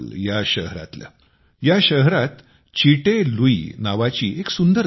आईजवाल या शहरात चिटे लुई नावाची एक सुंदर नदी आहे